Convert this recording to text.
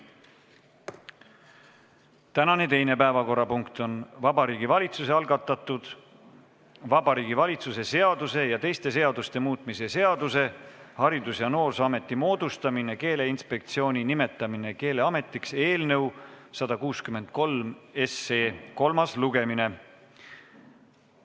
Tänane teine päevakorrapunkt on Vabariigi Valitsuse algatatud Vabariigi Valitsuse seaduse ja teiste seaduste muutmise seaduse eelnõu 163 kolmas lugemine.